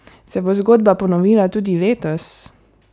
Se bo zgodba ponovila tudi letos?